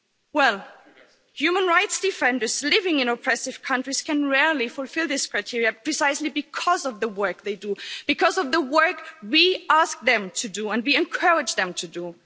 Well, human rights defenders living in oppressive countries can rarely fulfil these criteria, precisely because of the work they do, because of the work we ask them to do and we encourage them to do.